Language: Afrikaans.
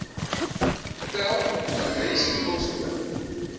tel adres poskode